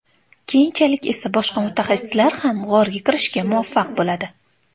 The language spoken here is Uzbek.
Keyinchalik esa boshqa mutaxassislar ham g‘orga kirishga muvaffaq bo‘ladi.